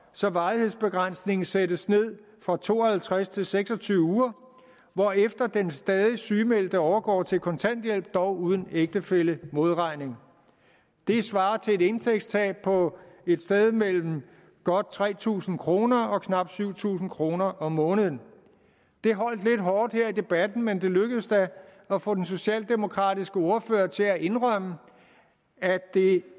så varighedsbegrænsningen sættes ned fra to og halvtreds til seks og tyve uger hvorefter den stadig sygemeldte overgår til kontanthjælp dog uden ægtefællemodregning det svarer til et indtægtstab på et sted mellem godt tre tusind kroner og knap syv tusind kroner om måneden det holdt lidt hårdt her i debatten men det lykkedes da at få den socialdemokratiske ordfører til at indrømme at det